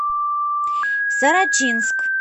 сорочинск